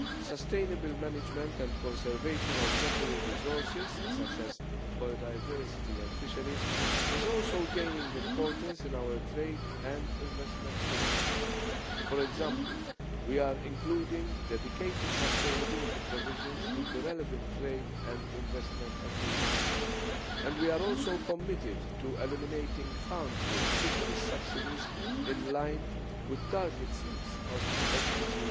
Sustainable management and conservation of natural resources, such as biodiversity and fisheries, is also gaining importance in our trade and investment policy. For example we are including dedicated sustainability provisions in the relevant trade and investment agreements and we are also committed to eliminating harmful fisheries subsidies in line with target 6 of SDG